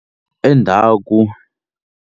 Endhaku.